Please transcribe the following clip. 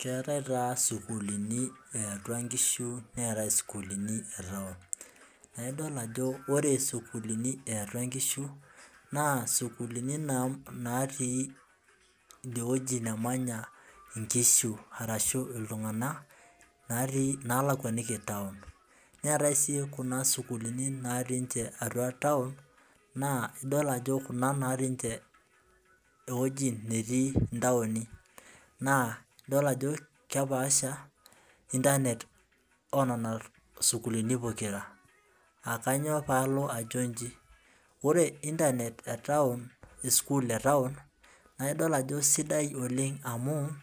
Keetae taa sukuulini yaiatua nkishu neetae sukuulini e Town naa idol ajo ore sukuulini yiayua nkishu naa sukuulini natii, idie wueji nemanya nkishu arashu iltunganak, natii naalakuaniko town neetae sii Kuna sukuulini, natii ninche atua Town naa, idol ajo Kuna natii ninche ewueji netii ntaoni. naa idol ajo kepaasha internet oo nena sukuulini, pokira aa kainyioo pee aajo iji. ore internet esukuul e taon naa idol ajo sidai oleng amu,